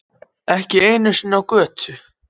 Ekki einu sinni á götu.